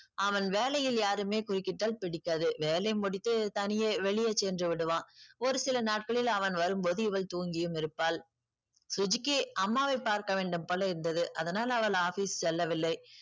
அவன் வேலையில் யாருமே குறுக்கிட்டால் பிடிக்காது. வேலை முடித்து தனியே வெளியே சென்று விடுவான். ஒரு சில நாட்களில் அவன் வரும் போது இவள் தூங்கியும் இருப்பாள். சுஜிக்கு அம்மாவை பார்க்க வேண்டும் போல இருந்தது. அதனால அவள் office செல்லவில்லை.